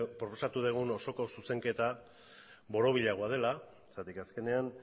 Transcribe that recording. proposatu osoko zuzenketa borobilagoa dela zergatik azkenean